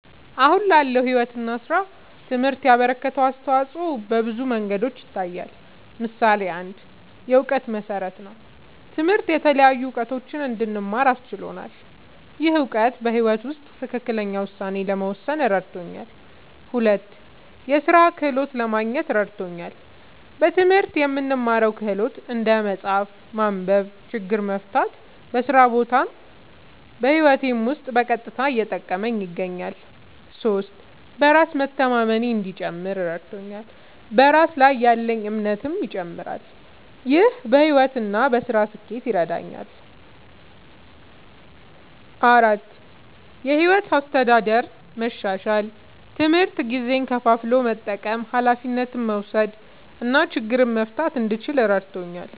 አሁን ላለው ሕይወት እና ሥራ ትምህርት ያበረከተው አስተዋጾ በብዙ መንገዶች ይታያል። ምሳሌ ፩, የእውቀት መሠረት ነዉ። ትምህርት የተለያዩ እዉቀቶችን እንድማር አስችሎኛል። ይህ እውቀት በሕይወት ውስጥ ትክክለኛ ውሳኔ ለመወሰን እረድቶኛል። ፪, የሥራ ክህሎት ለማግኘት እረድቶኛል። በትምህርት የምንማረው ክህሎት (እንደ መጻፍ፣ ማንበብ፣ ችግር መፍታ) በስራ ቦታም በህይወቴም ዉስጥ በቀጥታ እየጠቀመኝ ይገኛል። ፫. በራስ መተማመኔ እንዲጨምር እረድቶኛል። በራስ ላይ ያለኝ እምነትም ይጨምራል። ይህ በሕይወት እና በሥራ ስኬት ይረዳኛል። ፬,. የሕይወት አስተዳደር መሻሻል፦ ትምህርት ጊዜን ከፋፍሎ መጠቀም፣ ኃላፊነት መውሰድ እና ችግር መፍታት እንድችል እረድቶኛል።